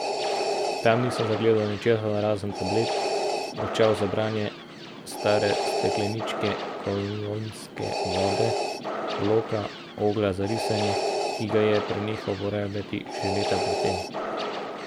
Tam nisem zagledal ničesar razen tablet, očal za branje, stare stekleničke kolonjske vode, bloka, oglja za risanje, ki ga je prenehal uporabljati že leta pred tem.